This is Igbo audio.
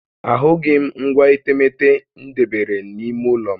Ahụghị m ngwa etemeete m debere n'ime ụlọ m